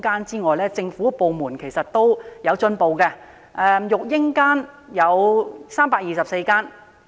設於政府部門的育嬰間共有324間。